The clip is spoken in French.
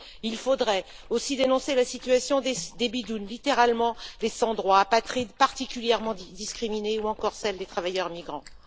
Il faudrait aussi dénoncer la situation des Bidounes, littéralement des sans droits apatrides particulièrement discriminés, ou encore celle des travailleurs migrants.